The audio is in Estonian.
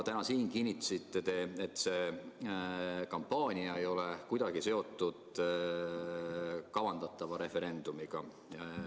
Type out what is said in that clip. Täna te kinnitasite siin, et see kampaania ei ole kuidagi seotud kavandatava referendumiga.